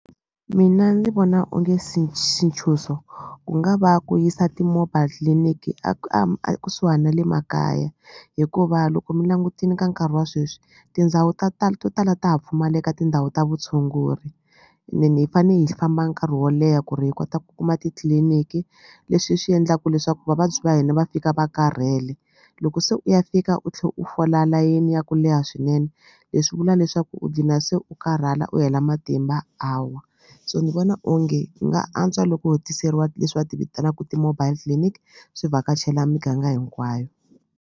Mina ndzi vona onge xintshuxo ku nga va ku yisa ti-mobile clinic a a kusuhani na le makaya hikuva loko mi langutini ka nkarhi wa sweswi tindhawu ta tala to tala ta ha pfumaleka tindhawu ta vutshunguri and then hi fane hi famba nkarhi wo leha ku ri hi kota ku kuma titliliniki leswi swi endlaku leswaku vavabyi va hina va fika va karhele loko se u ya fika u tlhe u fola layeni ya ku leha swinene leswi vula leswaku u dlina se u karhala u hela matimba a wa so ni vona onge ku nga antswa loko ho tiseriwa leswi va ti vitanaka ti-mobile clinic swi vhakachela miganga hinkwayo.